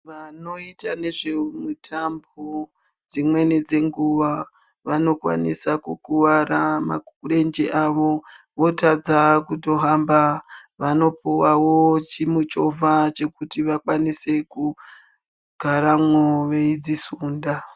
Vanoita nezvemutambo dzimweni dzeenguva vanokuvara marenje avo votadza kutojamba vanopiwawo chimichovha chekuti vakwanise kugaramwo veidzisunda.